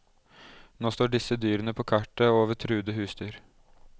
Nå står disse dyrene på kartet over truede husdyr.